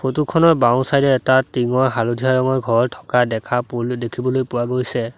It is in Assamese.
ফটো খনৰ বাওঁ চাইড এ এটা টিংৰ হালধীয়া ৰঙৰ ঘৰ থকা দেখা পুল দেখিবলৈ পোৱা গৈছে।